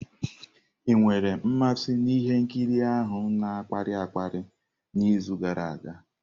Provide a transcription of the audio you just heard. Ị nwere mmasị na ihe nkiri ahụ na-akpali akpali n'izu gara aga?